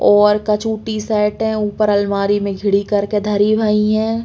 और कछु T shirt है ऊपर अलमारी में घिढ़ी कर के धरी भई हैं।